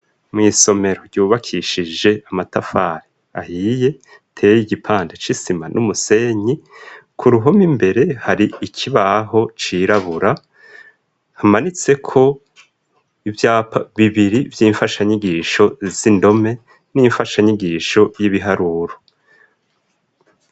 Mw'isomero ryubakishije amatafari ahiye ateye igipanda c'isima n'umusenyi ,ku ruhome imbere hari ikibaho cirabura hamanitseko ivyapa bibiri vy'imfashanyigisho z'indome n'imfasha nyigisho y'ibiharuro.